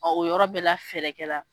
Ɔ o yɔrɔ bɛ la fɛrɛ kɛla la